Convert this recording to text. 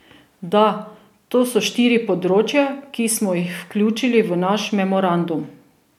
Da, to so štiri področja, ki smo jih vključili v naš memorandum.